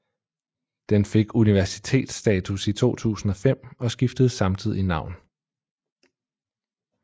Den fik universitetsstatus i 2005 og skiftede samtidig navn